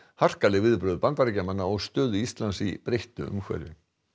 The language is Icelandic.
harkaleg viðbrögð Bandaríkjamanna og stöðu Íslands í breyttu umhverfi